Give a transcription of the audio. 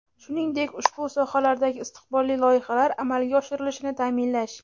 shuningdek ushbu sohalardagi istiqbolli loyihalar amalga oshirilishini ta’minlash;.